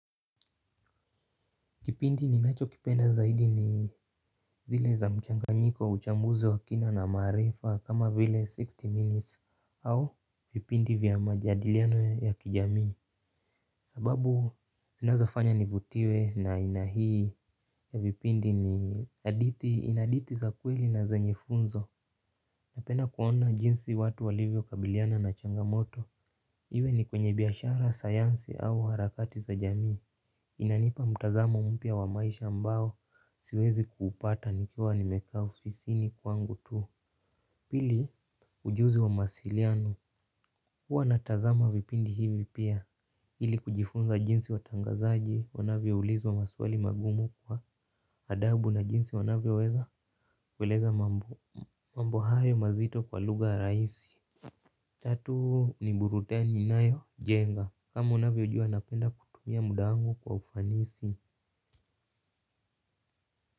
Kipindi ninachokipenda zaidi ni zile za mchanganyiko uchambuzi wa kina na maarifa kama vile sitini minutes au vipindi vya majadiliano ya kijamii. Sababu zinazofanya nivutiwe na aina hii ya vipindi ni hadithi za kweli na zenye funzo. Napenda kuona jinsi watu walivyokabiliana na changamoto. Iwe ni kwenye biashara sayansi au harakati za jamii inanipa mtazamo mpya wa maisha ambao siwezi kuupata nikiwa nimekaa ufisini kwangu tu pili ujuzi wa mawasiliano huwa natazama vipindi hivi pia ili kujifunza jinsi watangazaji wanavyoulizwa maswali magumu kwa adhabu na jinsi wanavyoweza kueleza mambo hayo mazito kwa lugha rahisi tatu ni burudani inayojenga kama unavyojua napenda kutumia muda wangu kwa ufanisi.